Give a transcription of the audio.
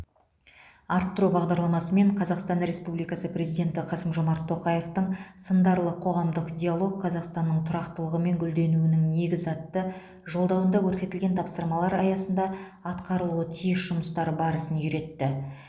арттыру бағдарламасы мен қазақстан республикасы президенті қасым жомарт тоқаевтың сындарлы қоғамдық диалог қазақстанның тұрақтылығы мен гүлденуінің негізі атты жолдауында көрсетілген тапсырмалар аясында атқарылуы тиіс жұмыстар барысын үйретті